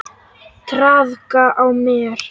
Traðka á mér!